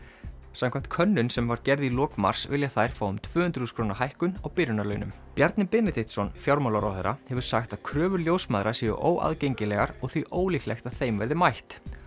samkvæmt könnun sem var gerð í lok mars vilja þær fá um tvö hundruð þúsund króna hækkun á byrjunarlaunum Bjarni Benediktsson fjármálaráðherra hefur sagt að kröfur ljósmæðra séu óaðgengilegar og því ólíklegt að þeim verði mætt